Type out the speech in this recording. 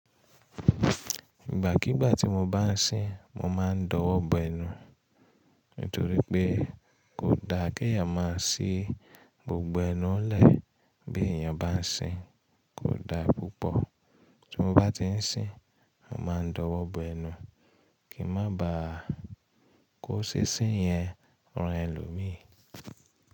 Ìgbà kígbà tí mo bá ń sin, mo ma ń dọwọ́bọ̀ ẹnu. Nítorí pé kò da kí a má a sí gbogbo ẹnu lẹ́ẹ bí èèyàn bá ń sin. Kò da púpọ̀. Tí mo bá ti ń sin, mo ma ń dọwọ́bọ̀ ẹnu kí má ba kò sín sin yẹn rán ẹlòmíì.